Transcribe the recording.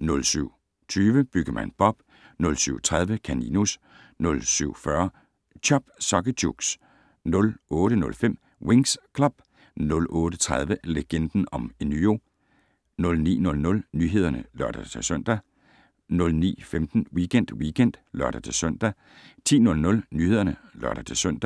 07:20: Byggemand Bob 07:30: Kaninus 07:40: Chop Socky Chooks 08:05: Winx Club 08:30: Legenden om Enyo 09:00: Nyhederne (lør-søn) 09:15: Weekend Weekend (lør-søn) 10:00: Nyhederne (lør-søn)